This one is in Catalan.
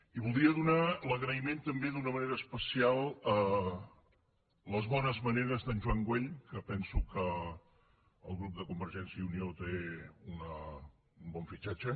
i voldria donar l’agraïment també d’una manera especial a les bones maneres d’en joan güell que penso que el grup parlamentari de convergència i unió té un bon fitxatge